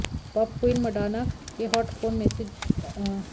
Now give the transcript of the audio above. pop queen Madonna के hot phone message की नीलामी होने जा रही है